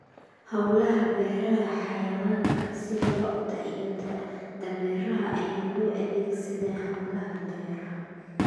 Hawlaha Beeraha Xayawaanka sida lo'da iyo dameeraha ayaa loo adeegsadaa hawlaha beeraha.